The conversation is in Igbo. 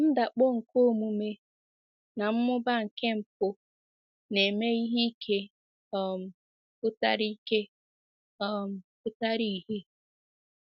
Ndakpọ nke omume na mmụba nke mpụ na ime ihe ike um pụtara ike um pụtara ìhè.